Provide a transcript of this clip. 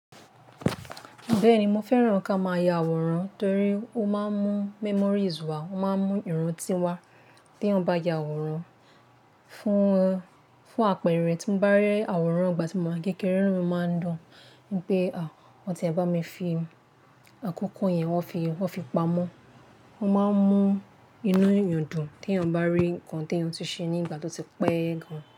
Bẹ́ẹ̀ni, mo fẹ́ràn ká máa ya àwòrán torí ó máa ń mú memories wá, ó máa ń mú ìrántí wá. Tè èèyàn bá ya àwòrán fún, fún àpẹ̀rẹ̀, tí mo bá rí àwòrán ìgbà tí mo wà kékeré, inu mi máa ń dún. Pe Wọ́n ti e bá mi fi àkókò yẹn, wọ́n fi, wọ́n fi pamọ́. Wọ́n máa ń mú inú èèyàn dùn, te èèyàn bá rí nǹkan tí èèyàn ti ṣe ní ìgbà tó ti pẹ́ gan.